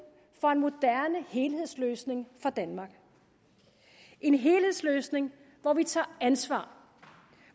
for en moderne helhedsløsning for danmark en helhedsløsning hvor vi tager ansvar